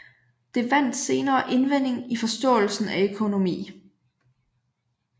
Det vandt senere indvending i forståelsen af økonomi